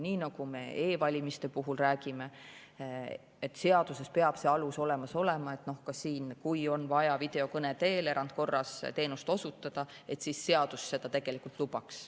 Nii nagu me e-valimiste puhul räägime, et saduses peab see alus olemas olema, on ka siin: kui on vaja videokõne teel erandkorras teenust osutada, siis seadus seda lubab.